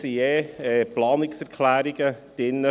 Es sind Planungserklärungen der FiKo enthalten.